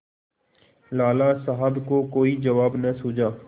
लाला साहब को कोई जवाब न सूझा